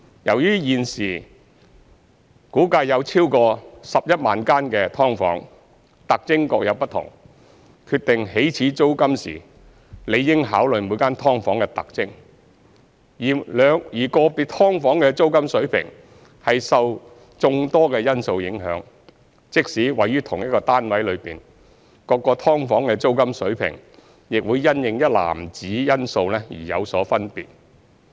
由於現時估計有超過11萬間"劏房"，特徵各有不同，決定起始租金時理應考慮每間"劏房"的特徵，而個別"劏房"的租金水平受眾多因素影響，即使位於同一單位內，各間"劏房"的租金水平亦會因應一籃子因素而有所分別。